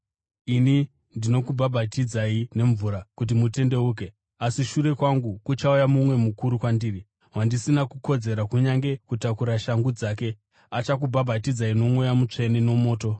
“Ini ndinokubhabhatidzai nemvura kuti mutendeuke. Asi shure kwangu kuchauya mumwe mukuru kwandiri, wandisina kukodzera kunyange kutakura shangu dzake. Achakubhabhatidzai noMweya Mutsvene nomoto.